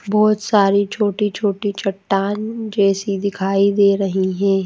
बहुत सारी छोटी-छोटी चट्टान जैसी दिखाई दे रही हैं।